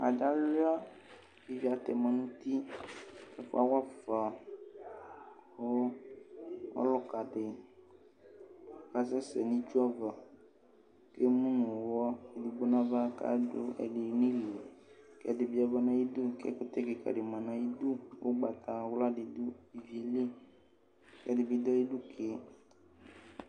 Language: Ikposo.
Adi aluia kʋ ivi atɛma nʋ uti ɛfʋ awafa kʋ ɔlʋkadi kasɛsɛ nʋ itsu ava kʋ emʋnʋ ʋwɔ edigbo nʋ ava kʋ adʋ ɛdi nʋ ili ɛdibi yaba nʋ ayidʋ kʋ ɛkʋtɛ kikadi manʋ ayidʋ ʋgbatawla didʋ ivi yɛli kʋ ɛdibi dʋ ayidʋ ke